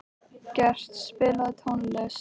Gret, spilaðu tónlist.